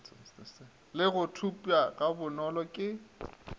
le go thopša gabonolo ke